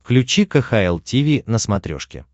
включи кхл тиви на смотрешке